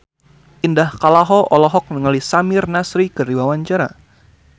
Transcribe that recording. Indah Kalalo olohok ningali Samir Nasri keur diwawancara